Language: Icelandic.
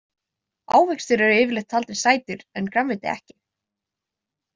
Ávextir eru yfirleitt taldir sætir, en grænmeti ekki.